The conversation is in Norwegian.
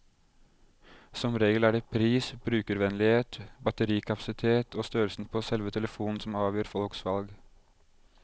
Som regel er det pris, brukervennlighet, batterikapasitet og størrelsen på selve telefonen som avgjør folks valg.